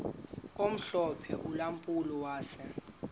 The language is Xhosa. omhlophe ulampulo wase